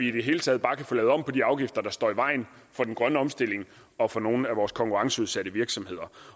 i det hele taget bare kan få lavet om på de afgifter der står i vejen for den grønne omstilling og for nogle af vores konkurrenceudsatte virksomheder